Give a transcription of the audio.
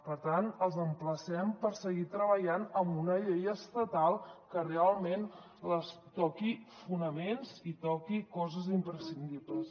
per tant els emplacem a seguir treballant en una llei estatal que realment toqui fonaments i toqui coses imprescindibles